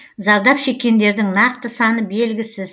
зардап шеккендердің нақты саны белгісіз